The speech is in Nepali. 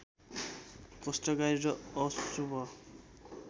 कष्टकारी र अशुभ